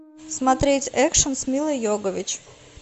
смотреть экшн с милой йовович